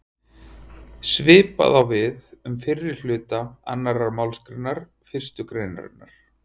Svipað á við um fyrri hluta annarrar málsgreinar fyrstu greinarinnar.